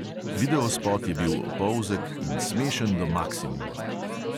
Videospot je bil opolzek in smešen do maksimuma.